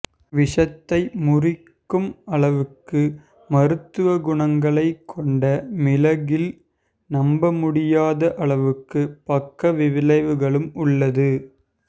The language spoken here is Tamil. விஷத்தை முறிக்கும் அளவுக்கு மருத்துவக் குணங்களை கொண்ட மிளகில் நம்ப முடியாத அளவுக்கு பக்க விளைவுகளும் உள்ளது